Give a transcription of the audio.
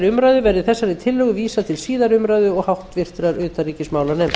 umræðu verði þessari tillögu vísað til síðari umræðu og háttvirtrar utanríkismálanefndar